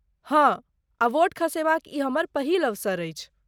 हँ, आ वोट खसयबाक ई हमर पहिल अवसर अछि।